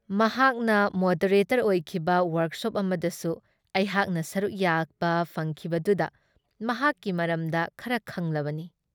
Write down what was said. ꯃꯍꯥꯛꯅ ꯃꯣꯗꯔꯦꯇꯔ ꯑꯣꯏꯈꯤꯕ ꯋꯔꯛꯁꯣꯞ ꯑꯃꯗꯁꯨ ꯑꯩꯍꯥꯛꯅ ꯁꯔꯨꯛ ꯌꯥꯕ ꯐꯪꯈꯤꯕꯗꯨꯗ ꯃꯍꯥꯛꯀꯤ ꯃꯔꯝꯗ ꯈꯔ ꯈꯪꯂꯕꯅꯤ ꯫